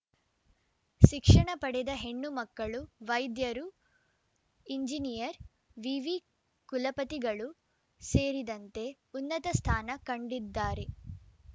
ಶಿಕ್ಷಣ ಪಡೆದ ಹೆಣ್ಣು ಮಕ್ಕಳು ವೈದ್ಯರು ಇಂಜಿನಿಯರ್‌ ವಿವಿ ಕುಲಪತಿಗಳೂ ಸೇರಿದಂತೆ ಉನ್ನತ ಸ್ಥಾನ ಕಂಡಿದ್ದಾರೆ